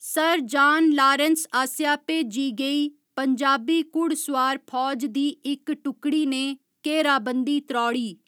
Sir John Lawrence आसेआ भेजी गेई पंजाबी घुड़सोआर फौज दी इक टुकड़ी ने घेराबंदी त्रौड़ी।